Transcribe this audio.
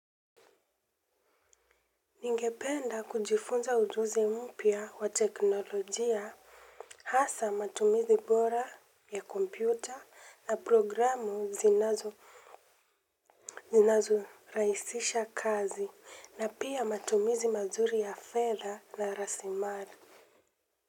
Ningependa kujifunza ujuzi mpya wa teknolojia hasa matumizi bora ya kompyuta na programu zinazo zinazo raisisha kazi na pia matumizi mazuri ya fedha na rasilimali.